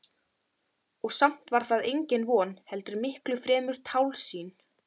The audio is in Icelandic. Marólína, hvað er á áætluninni minni í dag?